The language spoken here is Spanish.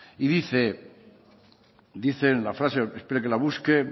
y dice y dice en la frase espere que la busque